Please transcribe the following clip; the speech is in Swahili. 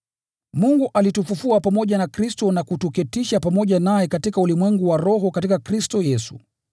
Mungu alitufufua pamoja na Kristo na kutuketisha pamoja naye katika ulimwengu wa roho katika Kristo Yesu,